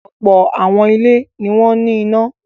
Ọ̀pọ̀ àwọn ilé ni wọ́n ní iná.